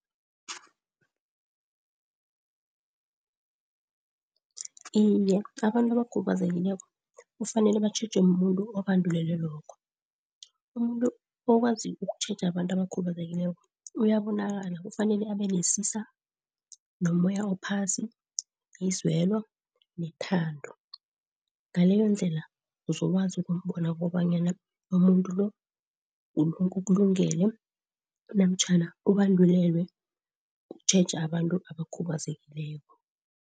Iye, abantu abakhubazekileko kufanele batjhejwe mumuntu obandulelwe lokho, umuntu okwazi ukukutjheja abantu abakhubazekileko uyabonakala. Kufanele abenesisa, nomoya ophasi, izwelo nethando. Ngaleyondlela uzokwazi ukumbona kobanyana umuntu lo ukulungele namtjhana ubandulelwe ukutjheja abantu abakhubazekileko.